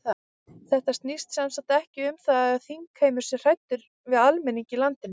Þetta snýst sem sagt ekki um það að þingheimur sé hræddur við almenning í landinu?